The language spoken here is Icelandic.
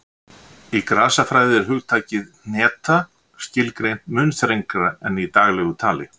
Í grasafræði er hugtakið hneta skilgreint mun þrengra en í daglegu tali.